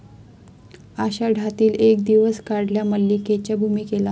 आषाढातील एक दिवस 'काढल्या 'मल्लिके 'च्या भूमिकेला